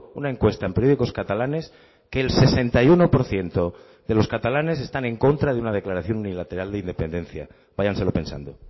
una encuesta en periódicos catalanes que el sesenta y uno por ciento de los catalanes están en contra de una declaración unilateral de independencia váyanselo pensando